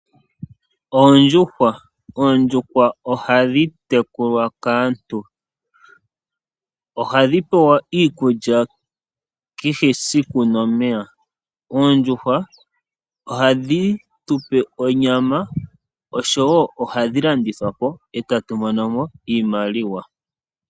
Oondjuhwa, ondjuhwa ohadhi tekulwa kaantu. Ohadhi pewa iikulya kehe esiku nomeya. Oondjuhwa ohadhi tupe onyama osho wo ohadhi landithwapo etatu monomo iimaliwa.